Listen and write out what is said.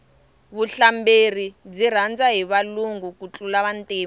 vuhlamberi byi rhandza hi valungu ku tlula vantima